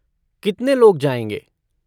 कितने लोग जाएँगे?